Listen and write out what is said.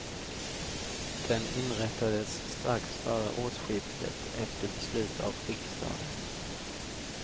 Den inrättades strax före årsskiftet efter beslut av riksdagen.